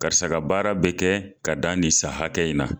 Karisa ka baara be kɛ ka dan nin san hakɛ in na